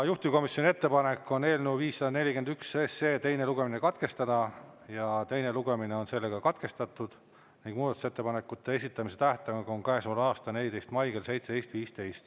Juhtivkomisjoni ettepanek on eelnõu 541 teine lugemine katkestada ja teine lugemine on katkestatud ning muudatusettepanekute esitamise tähtaeg on käesoleva aasta 14. mai kell 17.15.